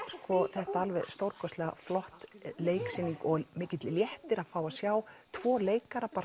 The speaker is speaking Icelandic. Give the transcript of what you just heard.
þetta alveg stórkostlega flott leiksýning og mikill léttir að fá að sjá tvo leikara